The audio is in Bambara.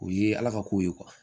O ye ala ka ko ye